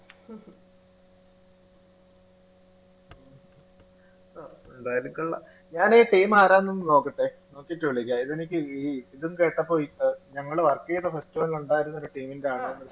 ഞാനീ team ആരാന്നൊന്ന് നോക്കട്ടെ നോക്കിയിട്ട് വിളിക്കാം ഇതെനിക്ക് ഈ ഇതും കേട്ടപ്പോൾ അ ഞങ്ങള് work ചെയ്ത festival ന് ഉണ്ടായിരുന്ന ഒരു team ൻറെ ആള്